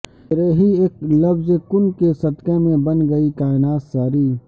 تیرے ہی اک لفظ کن کے صدقہ میں بن گئی کائنات ساری